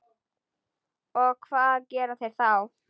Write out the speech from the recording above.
Og hvað gera þeir þá?